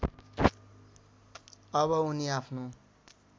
अब उनी आफ्नो